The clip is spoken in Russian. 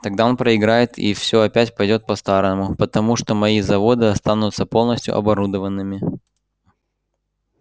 тогда он проиграет и всё опять пойдёт по-старому потому что мои заводы останутся полностью оборудованными